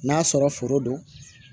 N'a sɔrɔ foro don